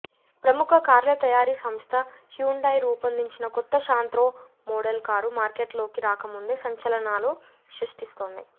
ప్రముఖ కార్ల తయారీ సంస్థ హ్యుండాయ్ రూపొందించిన కొత్త శాంత్రో మోడల్ కారు మార్కెట్లోకి రాకముందే సంచలనాలు సృష్టిస్తోంది